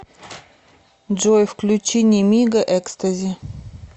джой включи немига экстази